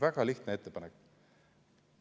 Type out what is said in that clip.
Väga lihtne ettepanek.